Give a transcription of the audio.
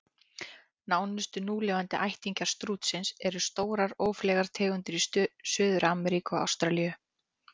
Nánustu núlifandi ættingjar stútsins eru stórar, ófleygar tegundir í Suður-Ameríku og Ástralíu.